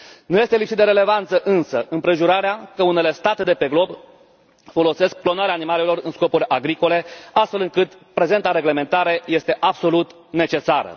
Nu este lipsită de relevanță, însă, împrejurarea că unele state de pe glob folosesc clonarea animalelor în scopuri agricole, astfel încât prezenta reglementare este absolut necesară.